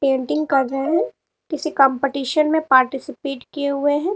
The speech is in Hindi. पेंटिंग कर रहे हैं किसी कंपटीशन में पार्टिसिपेट किये हुए हैं।